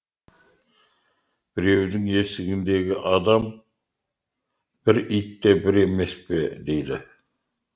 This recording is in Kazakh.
біреудің есігіндегі адам бір ит те бір емес пе дейді